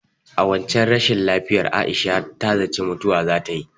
A waccen rashin lafiyar Aisha ta zaci mutuwa zatayi.